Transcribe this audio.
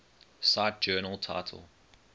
cite journal title